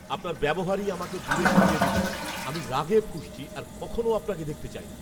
আপনার ব্যবহারই আমাকে দূরে সরিয়ে দিচ্ছে। আমি রাগে ফুঁসছি আর কখনো আপনাকে দেখতে চাই না।